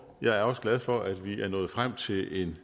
jeg er også glad for at vi er nået frem til et